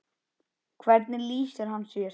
Hvernig lýsir hann sér?